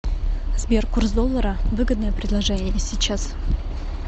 сбер курс доллара выгодное предложение сейчас